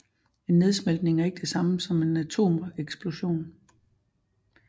En nedsmeltning er ikke det samme som en atomeksplosion